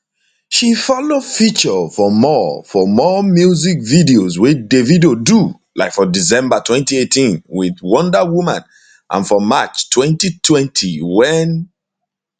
she follow feature for more for more music videos wey davido do like for december 2018 wit wonder woman and for march 2020 wen